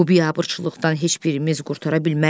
Bu biabırçılıqdan heç birimiz qurtara bilmərik.